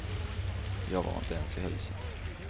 Jag var inte ens i huset.